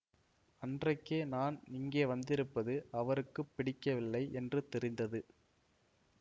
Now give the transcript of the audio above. அன்றைக்கே நான் இங்கே வந்திருப்பது அவருக்கு பிடிக்கவில்லை என்று தெரிந்தது